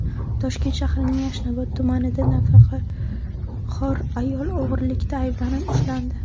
Toshkent shahrining Yashnobod tumanida nafaqaxo‘r ayol o‘g‘rilikda ayblanib ushlandi.